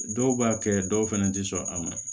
Dɔw b'a kɛ dɔw fɛnɛ ti sɔn a ma